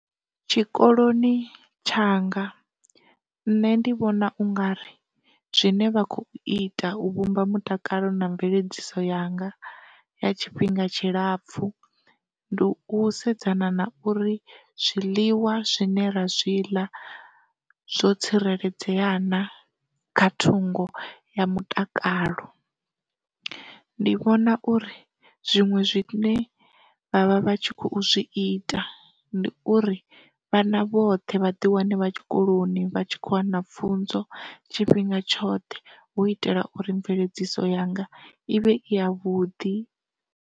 Tshikoloni tshanga nṋe ndi vhona ungari zwine vha kho ita u vhumba mutakalo na mveledziso yanga ya tshifhinga tshilapfhu ndi u sedzana na uri zwiḽiwa zwine ra zwi ḽa zwo tsireledzea na kha thungo ya mutakalo. Ndi vhona uri zwinwe zwi ne vhavha vhatshi kho zwi ita ndi uri, vhana vhoṱhe vha ḓi wane vha tshikoloni vha tshi kho wana pfunzo tshifhinga tshoṱhe hu u itela uri mveledziso yanga i vhe i ya vhuḓi.